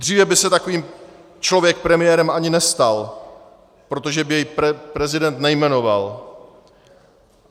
Dříve by se takový člověk premiérem ani nestal, protože by jej prezident nejmenoval.